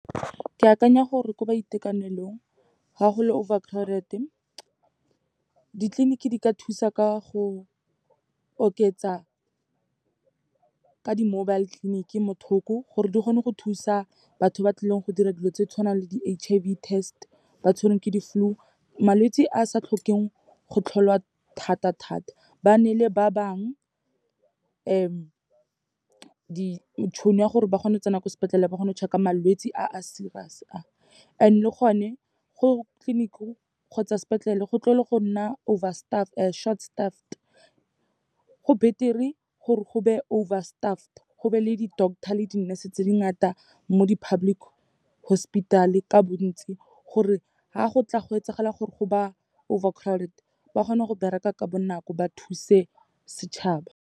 Ke akanya gore ko boitekanelong, ga go le overcrowded-e, ditleliniki di ka thusa ka go oketsa ka di-mobile clinic, mo thoko gore di kgone go thusa batho ba tlileng go dira dilo tse di tshwanang le di H_I_V test, ba tshwerweng ke di-flu, malwetse a a sa tlhokeng go tlholwa thata-thata. Ba ne le ba bangwe, tšhono ya gore ba kgone go tsena ko sepetlele, ba kgone go check-a malwetse a a serious-e a, and le gone go tleliniking kgotsa sepetlele, go tlogele go nna short-staffed. Go beter-e gore go be over-staffed, go be le di-doctor le di-nurse tse di ngata mo di-public hospital-e ka bontsi, gore ha go tla go etsagala gore go ba overcrowded, ba kgona go bereka ka bonako, ba thuse setšhaba.